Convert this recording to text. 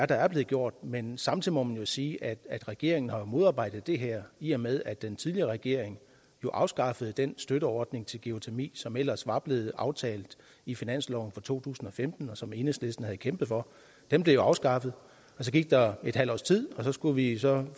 der er blevet gjort men samtidig må man sige at regeringen jo har modarbejdet det her i og med at den tidligere regering afskaffede den støtteordning til geotermi som ellers var blevet aftalt i finansloven for to tusind og femten og som enhedslisten havde kæmpet for den blev jo afskaffet så gik der halvt års tid og så skulle vi så